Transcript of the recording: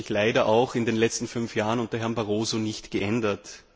Das hat sich leider auch in den letzten fünf Jahren unter Herrn Barroso nicht geändert.